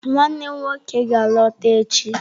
Nwannem nwoke ga-alọta echi